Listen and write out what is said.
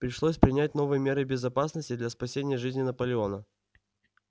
пришлось принять новые меры безопасности для спасения жизни наполеона